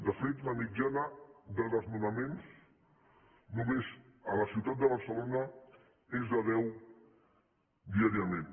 de fet la mitjana de desnonaments només a la ciutat de barcelona és de deu diàriament